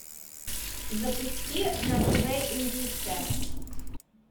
запусти на тв индийское